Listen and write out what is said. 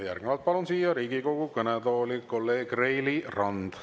Järgnevalt palun siia Riigikogu kõnetooli kolleeg Reili Ranna.